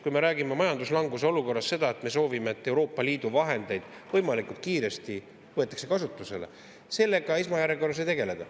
Kui me räägime majanduslanguse olukorras seda, et me soovime, et Euroopa Liidu vahendeid võimalikult kiiresti võetakse kasutusele – sellega esmajärjekorras ei tegelda.